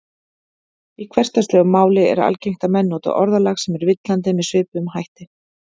Í hversdagslegu máli er algengt að menn noti orðalag sem er villandi með svipuðum hætti.